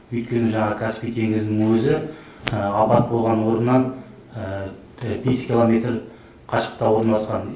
өйткені жаңағы каспий теңізінің өзі апат болған орыннан бес километр қашықтықта орналасқан